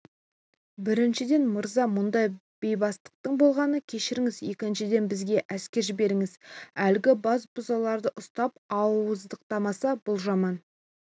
біріншіден мырза мұндай бейбастақтың болғанын кешіріңіз екіншіден бізге әскер жіберіңіз әлгі басбұзарларды ұстатып ауыздықтамаса бұл жаман